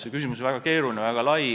See küsimus on väga keeruline, väga lai.